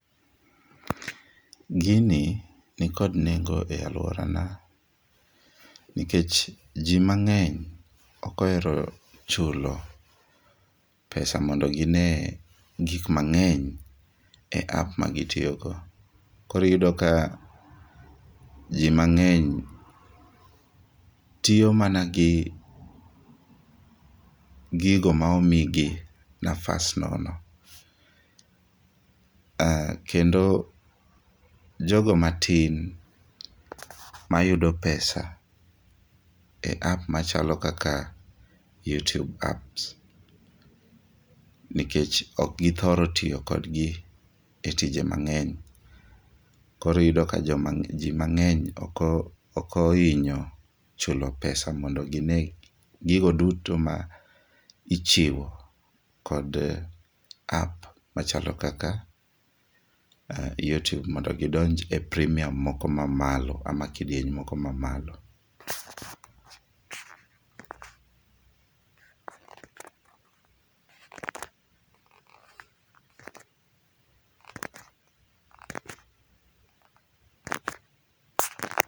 gini ni kod nengo e aluorana nikech ji mang'eny ok ohero chulo pesa mondo gine gik mang'eny e []app magi tiyogo, koro iyudo ka ji mang'eny tiyo mana gi gigo ma omigi nafas nono kendo jogo matin mayudo pesa e app machalo kaka youtube app nikech ok githor tiyo kod gi e tije mang'eny, koro iyudo ka ji mang'eny ok ohinyo chulo pesa mondo gine gigo duto ma ichiwo kod app machalo kaka youtube mondo gi donj e premium moko mamalo ama kidieny moko mamalo